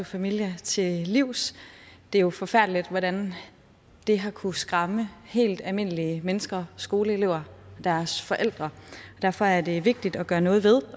familia til livs det er jo forfærdeligt hvordan det har kunnet skræmme helt almindelige mennesker skoleelever og deres forældre og derfor er det vigtigt at gøre noget ved